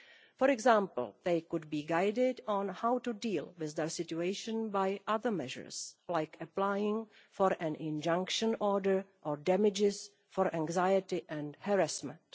For example, they could be guided on how to deal with their situation by other measures, like applying for an injunction order or damages for anxiety and harassment.